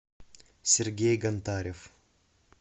сергей гонтарев